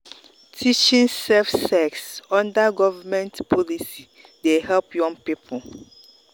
teaching safe sex under government policy dey help young people.